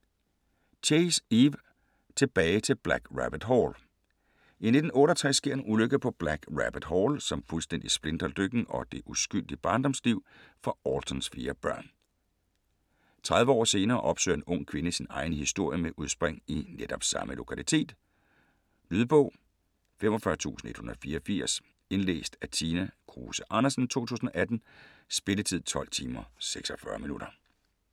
Chase, Eve: Tilbage til Black Rabbit Hall I 1968 sker en ulykke på Black Rabbit Hall, som fuldstændig splintrer lykken og det uskyldige barndomsliv for Altons fire børn. 30 år senere opsøger en ung kvinde sin egen historie med udspring i netop samme lokalitet. Lydbog 45184 Indlæst af Tina Kruse Andersen, 2018. Spilletid: 12 timer, 46 minutter.